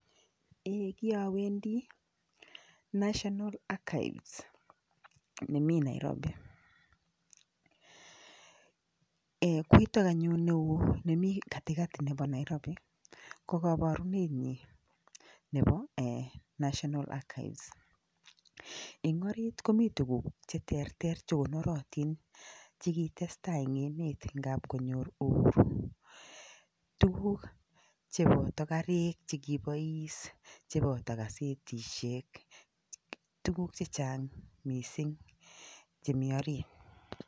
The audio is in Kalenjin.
Eee kiawendi, National achieves nemi nairobi. Koitok anyun neo nemi katikati nebo nairobi kokabarunenyi nebo ee national achieves. Eng orit komi tukuk cheterter chekonoratin chekitestai eng emet ng'ap konyor uhuru. Tukuk cheboto karik chekibois, chebo gasetishek. Tukuk chechang mising chemi orit.